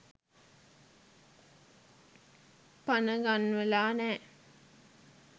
පණ ගන්වලා නෑ.